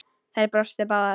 Þær brostu báðar.